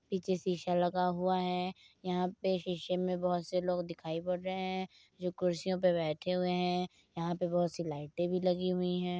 पीछे शीशा लगा हुआ है यहाँ पे शीशे में बहुत से लोग दिखाई पड़ रहे हैं जोकि कुर्सियों पे बैठे हुए है। यहाँ पे बहुत सी लाइटें भी लगी हुई हैं।